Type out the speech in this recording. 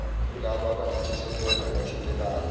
kulabo abanentshisekelo nabathintekayo